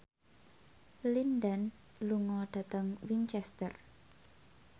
Lin Dan lunga dhateng Winchester